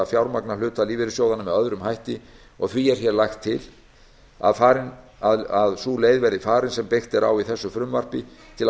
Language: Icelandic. fjármagna hluta lífeyrissjóðanna með öðrum hætti og því er hér lagt til að sú leið verði farin sem byggt er á í þessu frumvarpi til að